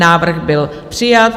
Návrh byl přijat.